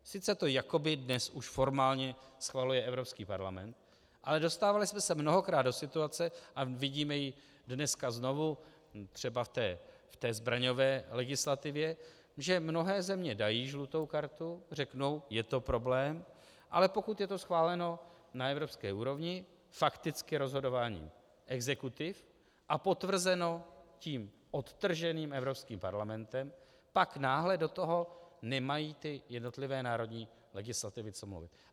Sice to jakoby dnes už formálně schvaluje Evropský parlament, ale dostávali jsme se mnohokrát do situace, a vidíme ji dneska znovu třeba v té zbraňové legislativě, že mnohé země dají žlutou kartu, řeknou je to problém, ale pokud je to schváleno na evropské úrovni, fakticky rozhodováním exekutiv a podtrženo tím odtrženým Evropským parlamentem, pak náhle do toho nemají ty jednotlivé národní legislativy co mluvit.